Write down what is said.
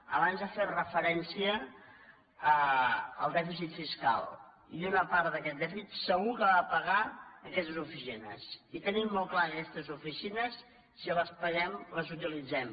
abans ha fet referència al dèficit fiscal i una part d’aquest dèficit segur que va a pagar aquestes oficines i tenim molt clar que aquestes oficines si les pa guem les utilitzem